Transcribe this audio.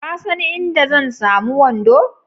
Ka san inda zan samu wando?